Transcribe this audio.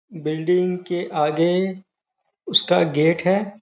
Building के आगे उसका गेट है।